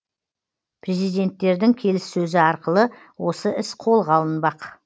президенттердің келіссөзі арқылы осы іс қолға алынбақ